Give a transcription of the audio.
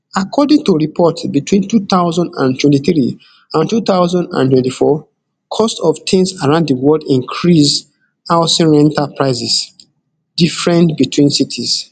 according to di report between two thousand and twenty-three and two thousand and twenty-four cost of tins around di world increase housing rental prices different between cities